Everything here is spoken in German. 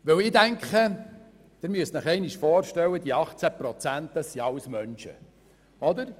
Sie müssen sich vorstellen, dass diese 18 Prozent alle Menschen sind.